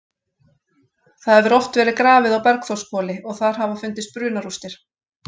Það hefur oft verið grafið á Bergþórshvoli og þar hafa fundist brunarústir.